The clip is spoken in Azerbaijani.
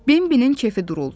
Bimbinin keyfi duruldu.